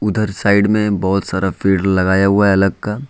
उधर साइड में बहुत सारा पेड़ लगाया हुआ है अलग का--